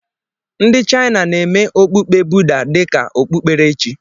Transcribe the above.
Ndị Chaịna na-eme okpukpe Buda dị ka okpukperechi.